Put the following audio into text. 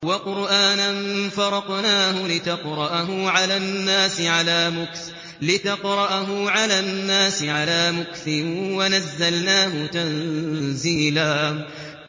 وَقُرْآنًا فَرَقْنَاهُ لِتَقْرَأَهُ عَلَى النَّاسِ عَلَىٰ مُكْثٍ وَنَزَّلْنَاهُ تَنزِيلًا